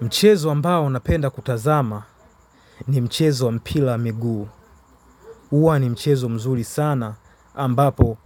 Mchezo ambao napenda kutazama ni mchezo wa mpira wa miguu. Huwa ni mchezo mzuri sana ambapo